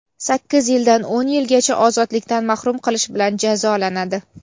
sakkiz yildan o‘n yilgacha ozodlikdan mahrum qilish bilan jazolanadi.